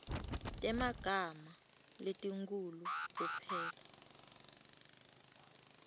temagama letinkhulu kuphela